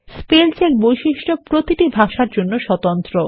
spell চেকবৈশিষ্ট্য প্রতিটি ভাষার জন্য স্বতন্ত্র